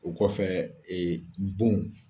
O kɔfɛ bon.